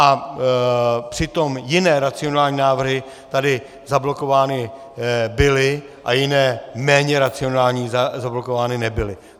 A přitom jiné racionální návrhy tady zablokovány byly, a jiné, méně racionální, zablokovány nebyly.